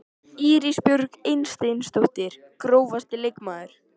Íris Björk Eysteinsdóttir Grófasti leikmaðurinn?